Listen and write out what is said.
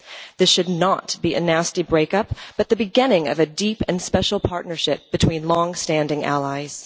This should not be a nasty break up but the beginning of a deep and special partnership between long standing allies.